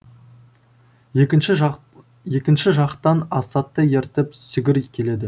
екінші жақ екінші жақтан асатты ертіп сүгір келеді